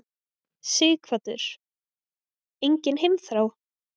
Sighvatur: Engin heimþrá?